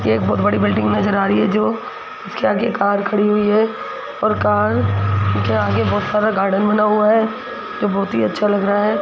यह एक बहोत बड़ी बिल्डिंग नजर आ रही है जो उसके आगे कार खड़ी हुई है और कार के आगे बहोत सारा गार्डन बना हुआ है तो बहोत ही अच्छा लग रहा है।